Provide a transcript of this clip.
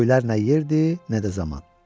Göylər nə yerdir, nə də zaman.